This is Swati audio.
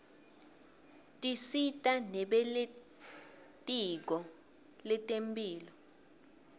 tisita nebelitiko letemphilo